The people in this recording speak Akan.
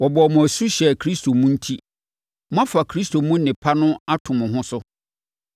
Wɔbɔɔ mo asu hyɛɛ Kristo mu enti, moafa Kristo mu nnepa no ato mo ho so.